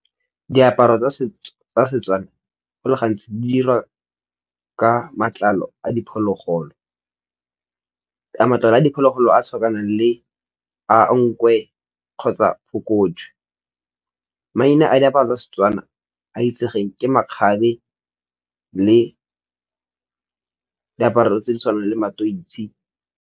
Diaparo tsa setso tsa Setswana go le gantsi di dirwa ka matlalo a diphologolo matlalo a diphologolo a tshwanang le a nkgwe kgotsa phokojwe, maina a diaparo tsa Setswana a itsegeng ke makgabe le diaparo tse di tshwanang le matoitsi.